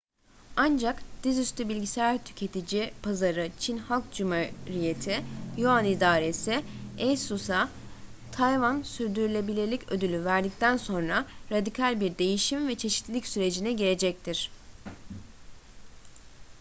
ancak dizüstü bilgisayar tüketici pazarı çin halk cumhuriyeti yuan i̇daresi asus’a tayvan sürdürülebilirlik ödülü verdikten sonra radikal bir değişim ve çeşitlilik sürecine girecektir